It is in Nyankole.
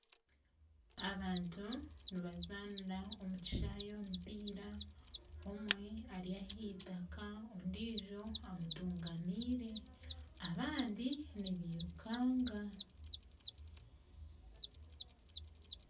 Abantu nibazaanira omu kishaayi omupiira omwe Ari aheitaka ondiijo amutungamiire abandi nibiirukanga